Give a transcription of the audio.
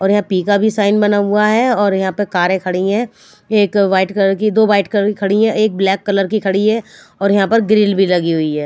और यहाँ पि का भी साइन बना हुआ है और यहाँ पे कारे है एक वाइट कलर की दो वाइट कलर की खड़ी है एक ब्लैक कलर की खड़ी है और यहाँ पर ग्रील भी लगी हुई है।